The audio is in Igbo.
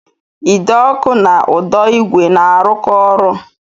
Ide ọkụ na ụdọ igwe na-arụkọ ọrụ